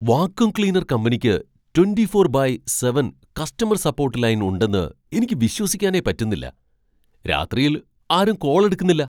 Vacuum cleaner കമ്പനിക്ക് twenty four by seven customer support line ഉണ്ടെന്ന് എനിക്ക് വിശ്വസിക്കാനേ പറ്റുന്നില്ല. രാത്രിയിൽ ആരും കോൾ എടുക്കുന്നില്ല.